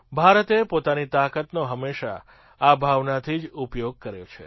ભારતે પોતાની તાકાતનો હંમેશાં આ ભાવનાથી જ ઉપયોગ કર્યો છે